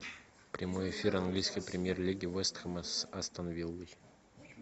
прямой эфир английской премьер лиги вест хэма с астон виллой